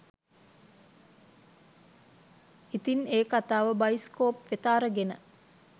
ඉතින් ඒ කතාව බයිස්කෝප් වෙත අරගෙන